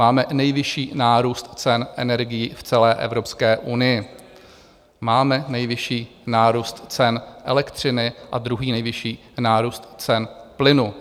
Máme nejvyšší nárůst cen energií v celé Evropské unii, máme nejvyšší nárůst cen elektřiny a druhý nejvyšší nárůst cen plynu.